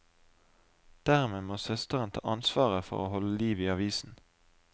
Dermed må søsteren ta ansvaret for å holde liv i avisen.